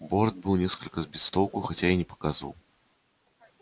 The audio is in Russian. борт был несколько сбит с толку хотя и не показывал